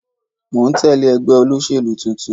Mò ń tẹ́lẹ̀ ẹgbẹ́ olóṣèlú tuntun.